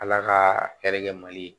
Ala ka hɛrɛ kɛ mali